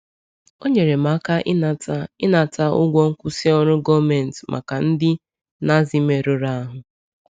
O nyere m aka ịnata ịnata ụgwọ nkwụsị ọrụ gọọmentị maka ndị Nazi merụrụ ahụ.